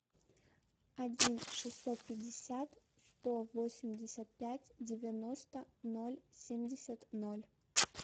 один шестьсот пятьдесят сто восемьдесят пять девяносто ноль семьдесят ноль